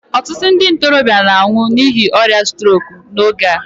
ọtụtụ ndị ntorobịa na-anwụ n'ihi ọrịa strok n'oge a